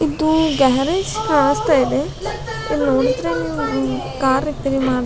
ಇದು ಗ್ಯಾರೇಜ್ ಕಾಣ್ಸ್ತಾ ಇದೆ ಇಲ್ ನೋಡಿದ್ರೆ ನೀವು ಕಾರ್ ರಿಪೇರಿ ಮಾಡ್ತ್ --